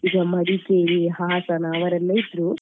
ಈಗ ಮಡಿಕೇರಿ ಹಾಸನ ಅವರೆಲ್ಲ ಇದ್ರು,